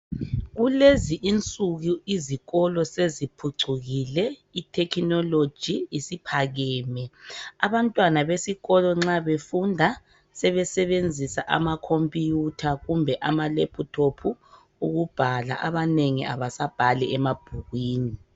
Kulezi insuku izikolo seziphucukile, ithekhinoloji isiphakeme. A bantwana besikolo nxa befunda, sebesebenzisa amakhomphutha kumbe amalephuthophu ukubhala, abanengi abasabhali emabhukwini.